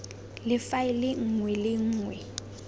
le faele nngwe le nngwe